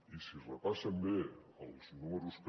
i si repassen bé els números que